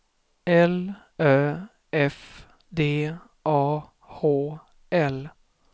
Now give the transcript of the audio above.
L Ö F D A H L